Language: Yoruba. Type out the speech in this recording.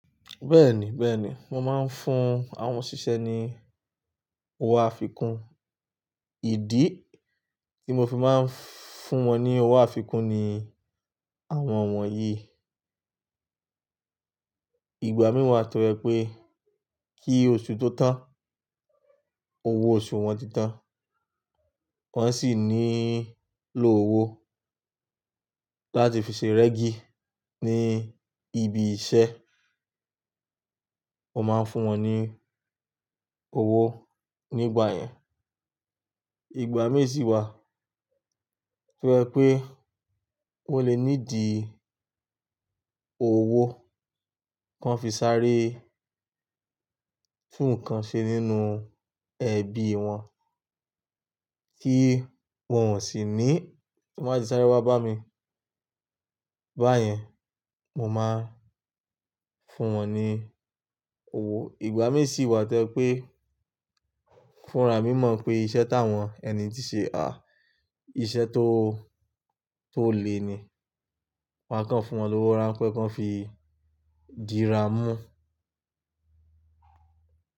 Bẹ́ẹ̀ni, bẹ́ẹ̀ni. Wọ́n máa ń fún àwọn òṣìṣẹ́ ní owó àfikún. Ìdí tí mo fi máa ń fún wọn ní owó àfikún ni àwọn won yìí: ìgbà míi wà tọ jẹ́ pé kí oṣù tó tán, owó oṣù wọn ti tán, wọ́n sì nílò owó láti fi ṣe rẹ́gí ní ibi isẹ́. Mo máa ń fún wọn ní owó nígbà yẹn. Ìgbà mii si wa tọ́ ba jẹ wipé wọ́n le need i owó kan fi sáré tú nnkan ṣe nínú ẹbí wọn kí wọ́n sì ní, "Ti wọ́n bá ti sáré wá bá mi." Bá yẹn, mo máa fún wọn ní owó. Ìgbà mii si wa to jẹ́ pé fúnra mí mọ̀ pé iṣẹ́ táwọn ẹni yi tí ṣe, à, iṣẹ́ tó, tó le ni. Máa kàn fún wọn lówó rán pé kí wọ́n fi dìra mú.